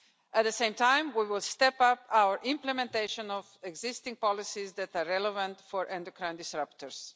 At the same time, we will step up our implementation of existing policies that are relevant for endocrine disruptors.